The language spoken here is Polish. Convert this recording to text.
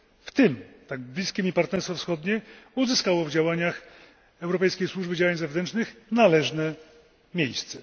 w tym tak bliskie mi Partnerstwo Wschodnie, uzyskało w działaniach Europejskiej Służby Działań Zewnętrznych należne miejsce.